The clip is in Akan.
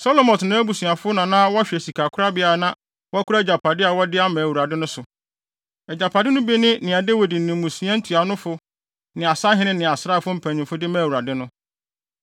Selomot ne nʼabusuafo na na wɔhwɛ sikakorabea a na wɔkora agyapade a wɔde ama Awurade no so. Agyapade no bi ne nea Dawid ne mmusua ntuanofo ne asahene ne asraafo mpanyimfo de maa Awurade no.